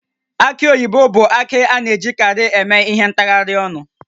Aki oyibo bụ akị a na-ejikarị eme ihe ntaharịa ọnụ